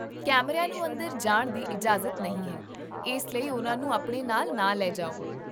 ਕੈਮਰਿਆਂ ਨੂੰ ਅੰਦਰ ਜਾਣ ਦੀ ਇਜਾਜ਼ਤ ਨਹੀਂ ਹੈ, ਇਸ ਲਈ ਉਹਨਾਂ ਨੂੰ ਆਪਣੇ ਨਾਲ ਨਾ ਲੈ ਜਾਓ